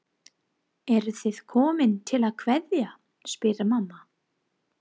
Eruð þið komin til að kveðja, spyr mamma.